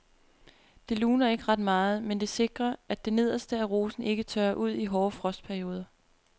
Det luner ikke ret meget, men det sikrer at det nederste af rosen ikke tørrer ud i hårde frostperioder.